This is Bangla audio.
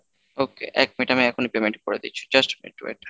Okay এক minute আমি এখনই payment করে দিচ্ছি just a minute wait.